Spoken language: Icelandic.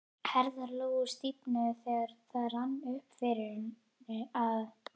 Herðar Lóu stífnuðu þegar það rann upp fyrir henni að